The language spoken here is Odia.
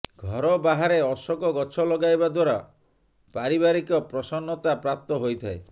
ଘର ବାହାରେ ଅଶୋକ ଗଛ ଲଗାଇବା ଦ୍ବାରା ପାରିବାରିକ ପ୍ରସନ୍ନତା ପ୍ରାପ୍ତ ହୋଇଥାଏ